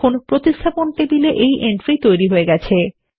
দেখুন replacement table এ entry তৈরি হয়ে গেছে